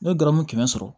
N ye dɔrɔmɛ kɛmɛ sɔrɔ